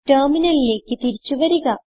ടെർമിനലിലേക്ക് തിരിച്ചു വരിക